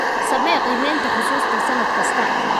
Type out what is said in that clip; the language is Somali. Samee qiimaynta xusuusta sannad kasta.